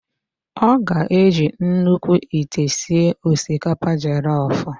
Ọ ga-eji nnukwu ite sie osikapa jelof.